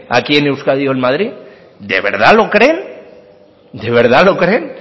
aquí en euskadi o en madrid de verdad lo creen de verdad lo creen